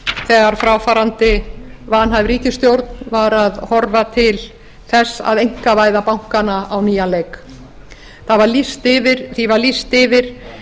þegar fráfarandi vanhæf ríkisstjórn var að horfa til þess að einkavæða bankana á nýjan leik því var lýst yfir